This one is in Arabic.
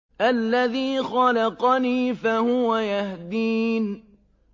الَّذِي خَلَقَنِي فَهُوَ يَهْدِينِ